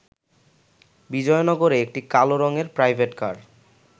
বিজয়নগরে একটি কালো রঙের প্রাইভেট কার